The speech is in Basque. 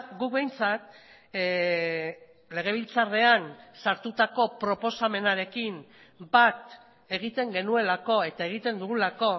guk behintzat legebiltzarrean sartutako proposamenarekin bat egiten genuelako eta egiten dugulako